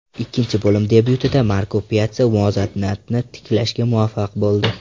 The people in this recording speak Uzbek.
Ikkinchi bo‘lim debyutida Marko Pyatsa muvozanatni tiklashga muvaffaq bo‘ldi.